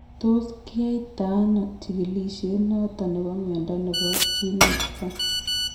Tos kiyai to ano chigilisiet noton nebo mnyondo nebo geniospasm ?